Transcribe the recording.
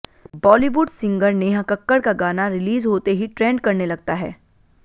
Bollywood singer Neha Kakkar का गाना release होते ही ट्रेंड करने लगता है